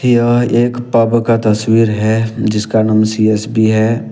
यह एक पब का तस्वीर है जिसका नाम सी_एस_बी है।